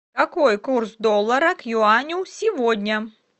какой курс доллара к юаню сегодня